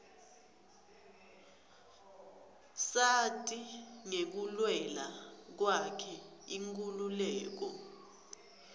sati ngekulwela kwakhe inkhululeko